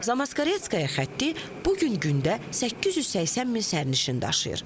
Zamoskvoretskaya xətti bu gün gündə 880 min sərnişin daşıyır.